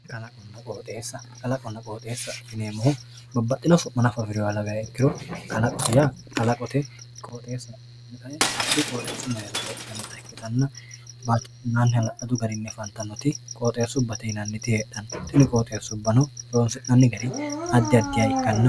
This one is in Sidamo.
Kalaqonna qooxxeessa, kalaqona qooxxeessa yineemmohu babbaxxino su'ma affi'noha lawirono kalqote yaa kalaqote qooxxeessaho yaa hakkuyi qooxxeesu mereero heedhanotta ikkittanna hala'ladu garinni affantanoti qooxxeesubbate yinannite horonsi'nannite tini qooxxeesubbano addi addiha.